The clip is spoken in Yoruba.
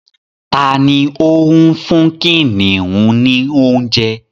Tani o ń fún kìnìún ní oúnjẹ?